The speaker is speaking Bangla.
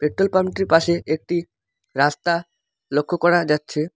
পেট্রোলপাম্প -টির পাশে একটি রাস্তা লক্ষ করা যাচ্ছে।